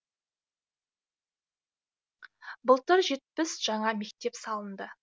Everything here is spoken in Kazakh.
былтыр жетпіс жаңа мектеп салынды